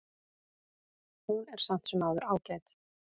Hún er samt sem áður ágæt.